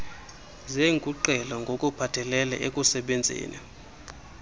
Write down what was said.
zeenkunkqele ngokuphathelele ekusebenzeni